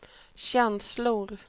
känslor